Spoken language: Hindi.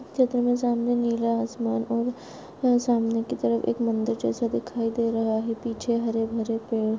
चित्र मे सामने नीला आसमान और सामने की तरफ एक मंदिर जैसा दिखाई दे रहा है पीछे हरे भरे पेड़--